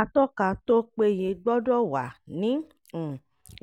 atọ́ka tó péye gbọ́dọ̀ wà ní um